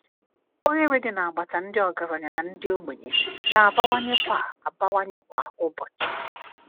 Oghere Dị n’Agbata Ndị Ọgaranya na Ndị Ogbenye Na - abawanye kwa - abawanye kwa ụbochi